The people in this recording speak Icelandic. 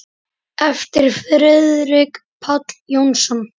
eftir Friðrik Pál Jónsson